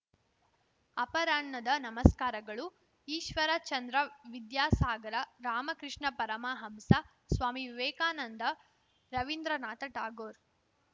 ಅಪರಾಹ್ನದ ನಮಸ್ಕಾರಗಳು ಈಶ್ವರ ಚಂದ್ರ ವಿದ್ಯಾಸಾಗರ ರಾಮಕೃಷ್ಣ ಪರಮಹಂಸ ಸ್ವಾಮಿ ವಿವೇಕಾನಂದ ರವೀಂದ್ರನಾಥ ಠಾಗೋರ್‌